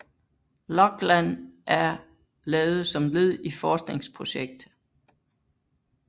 Loglan er lavet som led i forskningprojekt